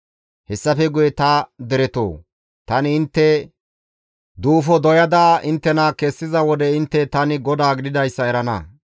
Hessafe guye ta deretoo, tani intte duufo doyada inttena kessiza wode intte tani GODAA gididayssa erana.